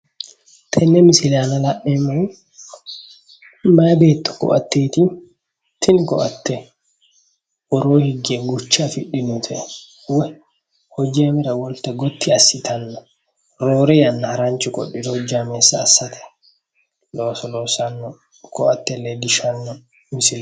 Tenne misile aan la'neemmohu mayi beetto ko"atteeti tini ko"atte woroo higge gurje afidhinote woy hojja iimira qolte gotti assitanno roore yanna haranchu qodhiro hojjameessa assate looso loossanno misile.